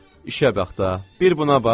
İşə bax da, bir buna bax.